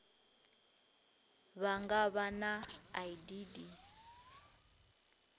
vha nga vha na idd